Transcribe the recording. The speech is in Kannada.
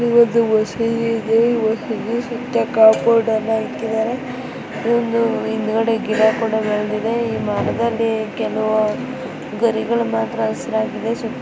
ಇದು ಮಸೀದಿ ಇದೆ ಇದರ ಸುತ್ತ ಕಾಂಪೌಂಡ್ ಅನ್ನ ಹಾಕಿದ್ದಾರೆ ಹಿಂದಗಡೆ ಗಿಡ ಕೂಡ ಬೆಳೆದಿದೆ. ಈ ಮರದಲ್ಲಿ ಕೆಲವು ಗರಿಗಳು ಮಾತ್ರ ಹಸಿರಾಗಿದೆ.